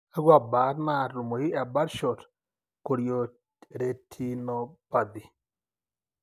Kakua baat naatumoyu ebirdshot chorioretinopathy?